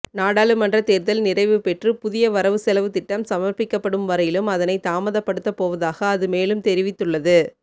நாடாளுமன்ற தேர்தல் நிறைவுபெற்று புதிய வரவுசெலவுத்திட்டம் சமர்ப்பிக்கப்படும் வரையிலும் அதனை தாமதப்படுத்தப்போவதாக அது மேலும் தெரிவித்துள்ளது